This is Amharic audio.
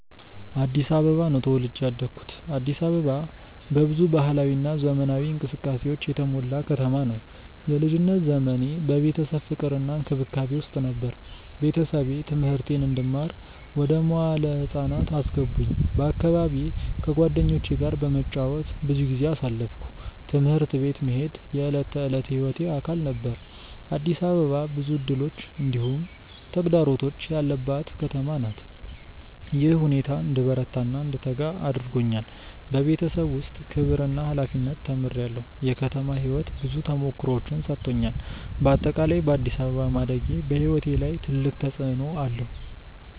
አዲስ አበባ ነው ተወልጄ ያደኩት። አዲስ አበባ በብዙ ባህላዊ እና ዘመናዊ እንቅስቃሴዎች የተሞላ ከተማ ነው። የልጅነት ዘመኔ በቤተሰብ ፍቅር እና እንክብካቤ ውስጥ ነበር። ቤተሰቤ ትምህርቴን እንድማር ወደ መዋለ ህፃናት አስገቡኝ በአካባቢዬ ከጓደኞቼ ጋር በመጫወት ብዙ ጊዜ አሳለፍኩ። ትምህርት ቤት መሄድ የዕለት ተዕለት ሕይወቴ አካል ነበር። አዲስ አበባ ብዙ እድሎች እንዲሁም ተግዳሮቶች ያለባት ከተማ ናት። ይህ ሁኔታ እንድበረታ እና እንድተጋ አድርጎኛል። በቤተሰብ ውስጥ ክብር እና ሀላፊነት ተምሬአለሁ። የከተማ ሕይወት ብዙ ተሞክሮዎችን ሰጥቶኛል። በአጠቃላይ በአዲስ አበባ ማደጌ በሕይወቴ ላይ ትልቅ ተፅዕኖ አለው።